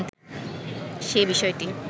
সে বিষয়টি